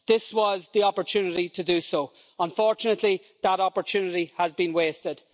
This was the opportunity to do so unfortunately that opportunity has been wasted.